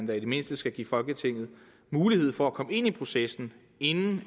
det mindste skal give folketinget mulighed for at komme ind i processen inden